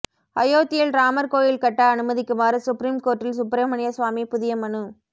அயோத்தியில் ராமர் கோயில் கட்ட அனுமதிக்குமாறு சுப்ரீம் கோர்ட்டில் சுப்பிரமணிய சுவாமி புதிய மனு